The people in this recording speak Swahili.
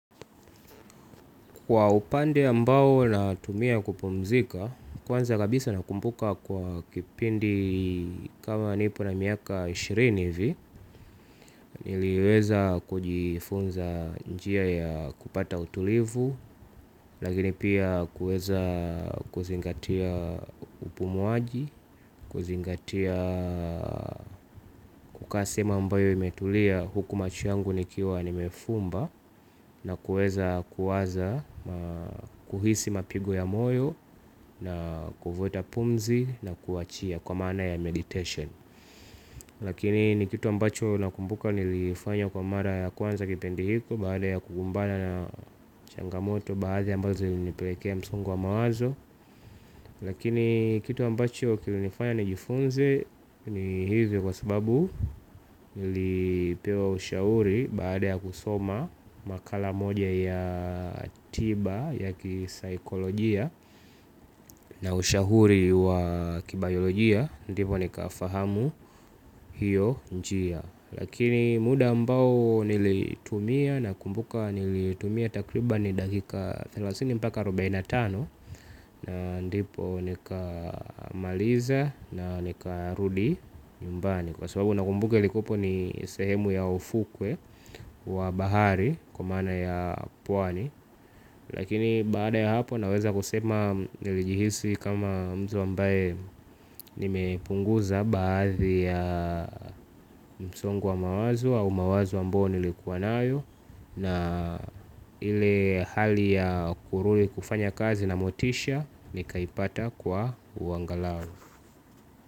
Kwa upande ambao natumia kupumzika, kwanza kabisa nakumbuka kwa kipindi kama nipo na miaka ishirini vi, niliweza kujifunza njia ya kupata utulivu, lakini pia kuweza kuzingatia upumuaji, kuzingatia kukaa sehemu ambayo imetulia huku macho yangu nikiwa nimefumba nakuweza kuwaza kuhisi mapigo ya moyo. Na kuvuta pumzi na kuachia. Kwa maa na ya meditation lakini nikitu ambacho nakumbuka nilifanya kwa mara ya kwanza kipindi hicho, baada ya kukumbana na changamoto baadhi ambazo zilinipelekea msongo wa mawazo. Lakini kitu ambacho kilinifanya nijifunze ni hivyo kwa sababu nilipewa ushauri baada ya kusoma makala moja ya tiba ya kisaikolojia na ushauri wa kibayolojia ndipo nikafahamu hio njia. Lakini muda ambao nilitumia nakumbuka nilitumia takriban dakika thelathini mpaka arubaine na tano na ndipo nikamaliza na nikarudi nyumbani kwa swababu nakumbuka ilikuwapo ni sehemu ya ufukwe wa bahari kwa maana ya pwani lakini baada ya hapo naweza kusema nilijihisi kama mtu ambaye nimepunguza baadhi ya msongo wa mawazo au mawazo ambayo nilikuwa nayo Na ile hali ya kurudi kufanya kazi na motisha nikaipata kwa uangalau.